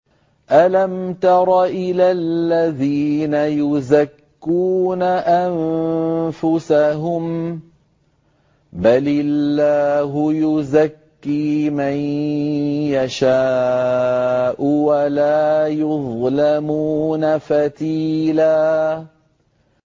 أَلَمْ تَرَ إِلَى الَّذِينَ يُزَكُّونَ أَنفُسَهُم ۚ بَلِ اللَّهُ يُزَكِّي مَن يَشَاءُ وَلَا يُظْلَمُونَ فَتِيلًا